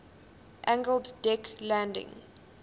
angled deck landing